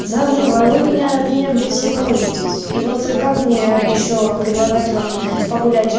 завул а вы меня от меня блять все морозить и вот как мне ещё предлагать вам погулять